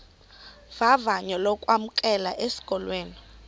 vavanyo lokwamkelwa esikolweni